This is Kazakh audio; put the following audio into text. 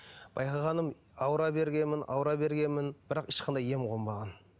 байқағаным ауыра бергенмін ауыра бергенмін бірақ ешқандай ем қонбаған